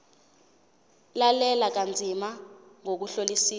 lalela kanzima ngokuhlolisisa